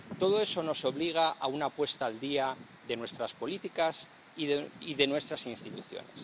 Todo eso nos obliga a una puesta al día de nuestras políticas y de nuestras instituciones.